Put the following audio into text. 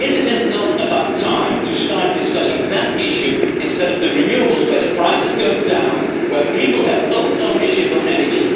Is it not about time to start discussing that issue instead of the renewables where the prices go down, where people have own ownership of energy?